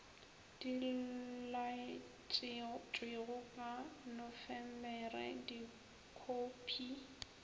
di laetšwego ka nofemere dikhophi